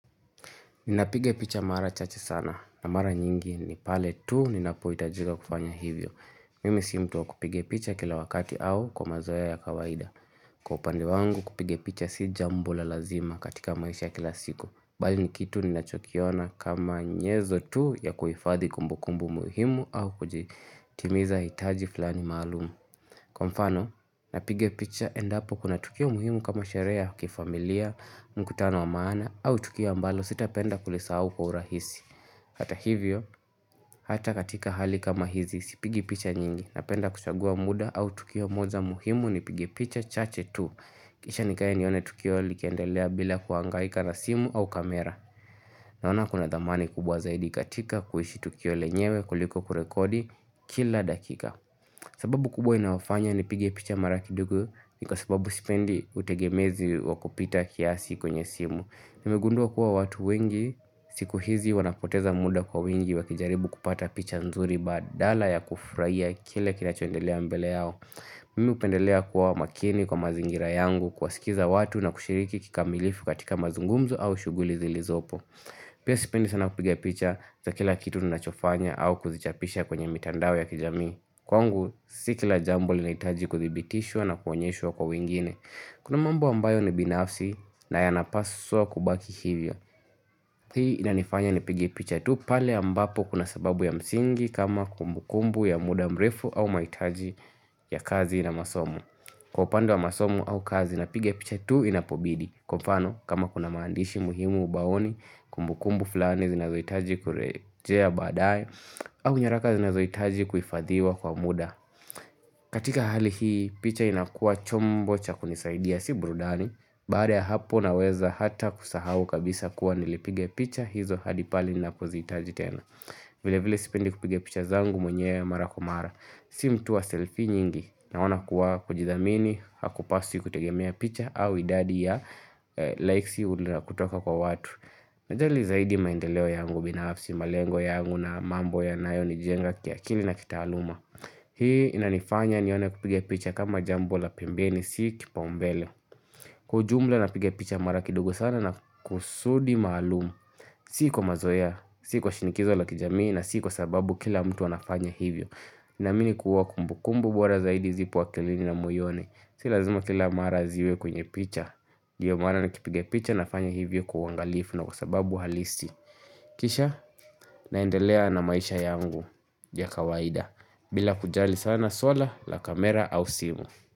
Ninapiga picha mara chache sana. Na mara nyingi ni pale tu ninapohitajiga kufanya hivyo. Mimi si mtu wa kupiga picha kila wakati au kwa mazoea ya kawaida. Kwa upande wangu kupige picha si jambo la lazima katika maisha ya kila siku. Bali ni kitu ninachokiona kama nyenzo tu ya kuhifadhi kumbukumbu muhimu au kutimiza hitaji fulani maalumu. Kwa mfano, napiga picha endapo kuna tukio muhimu kama sherehe ya kifamilia, mkutano wa maana, au tukio ambalo sitapenda kulisahau kwa urahisi. Hata hivyo, hata katika hali kama hizi, sipigi picha nyingi, napenda kuchagua muda au tukio moja muhimu nipige picha chache tu. Kisha nikae nione tukio likiendelea bila kuangaika na simu au kamera. Naona kuna thamani kubwa zaidi katika, kuishi tukio lenyewe, kuliko kurekodi kila dakika. Sababu kubwa inayofanya nipige picha mara kidogo ni kwa sababu sipendi utegemezi wa kupita kiasi kwenye simu. Nimegundua kuwa watu wengi siku hizi wanapoteza muda kwa wingi wakijaribu kupata picha nzuri badala ya kufurahia kile kinachondelea mbele yao. Mimi hupendelea kuwa makini kwa mazingira yangu kuwasikiza watu na kushiriki kikamilifu katika mazungumzo au shughuli zilizopo. Pia sipendi sana kupiga picha za kila kitu ninachofanya au kuzichapisha kwenye mitandao ya kijamii. Kwangu si kila jambo linahitaji kuthibitishwa na kuonyeshwa kwa wengine Kuna mambo ambayo ni binafsi na yanapaswa kubaki hivyo Hii inanifanya nipige picha tu pale ambapo kuna sababu ya msingi kama kumbukumbu ya muda mrefu au mahitaji ya kazi na masomo Kwa upande wa masomo au kazi napiga picha tu inapobidi. Kwa mfano kama kuna maandishi muhimu ubaoni, kumbukumbu fulani zinazohitaji kurejea baadaye au nyaraka zinazohitaji kuhifadhiwa kwa muda. Katika hali hii picha inakuwa chombo cha kunisaidia si burudani. Baada ya hapo naweza hata kusahau kabisa kuwa nilipiga picha hizo hadi pale ninapozihitaji tena Vilevile sipendi kupiga picha zangu mwenyewe mara kwa mara. Si mtu wa selfie nyingi naona kuwa kujithamini Hakupaswi kutegemea picha au idadi ya likes ulionazo kutoka kwa watu Najali zaidi maendeleo yangu binafsi malengo yangu na mambo yanayonijenga kiakili na kitaaluma Hii inanifanya nione kupige picha kama jambo la pembeni. Si kipaumbele Kwa ujumla napiga picha mara kidogo sana na kusudi maalumu Si kwa mazoea. Si kwa shinikizo la kijamii na si kwa sababu kila mtu anafanya hivyo Ninaamini kuwa kumbukumbu bora zaidi zipo akilini na moyoni. Si lazima kila mara ziwe kwenye picha. Ndiyo maana nikipiga picha nafanya hivyo kwa uangalifu na kwa sababu halisi Kisha naendelea na maisha yangu ya kawaida. Bila kujali sana swala la kamera au simu.